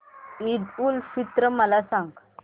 ईद उल फित्र मला सांग